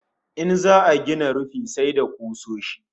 In za'a rufe gini sai da kusoshi